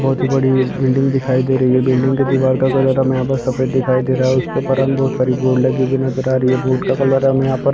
बहुत ही बड़ी बिल्डिंग दिखाई दे रही है बिल्डिंग की दिवार का कलर हमें यहाँ पर सफ़ेद दिखाई दे रहा है उसपे हमें बहुत साड़ी बोर्ड लगी हुई नज़र आ रही है बोर्ड का कलर हमें यहाँ पर--